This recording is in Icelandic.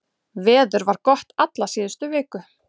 Veður var gott alla síðustu viku